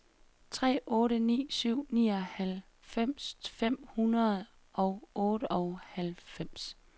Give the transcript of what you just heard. tre otte ni syv nioghalvfems fem hundrede og otteoghalvfems